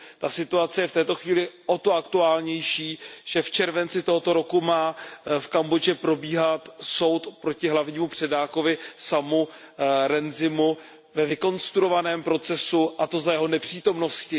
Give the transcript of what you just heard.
Ta situace je v této chvíli o to aktuálnější, že v červenci tohoto roku má v Kambodži probíhat soud proti hlavnímu předákovi Samovi Rainsyovi ve vykonstruovaném procesu, a to za jeho nepřítomnosti.